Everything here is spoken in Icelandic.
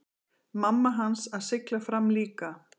Mamma hans að sigla fram líka.